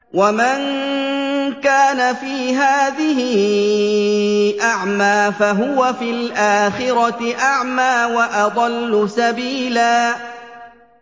وَمَن كَانَ فِي هَٰذِهِ أَعْمَىٰ فَهُوَ فِي الْآخِرَةِ أَعْمَىٰ وَأَضَلُّ سَبِيلًا